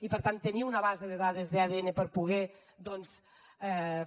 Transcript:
i per tant tenir una base de dades d’adn per poder doncs